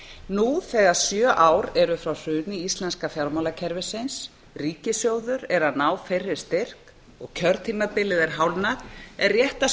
nú þegar sjö ár eru frá hruni íslenska fjármálakerfisins ríkissjóður er að ná fyrri styrk og kjörtímabilið er hálfnað er rétt að